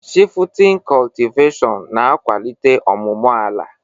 Shifutin cọtiveshịon na-akwalitela ọmụmụ ala.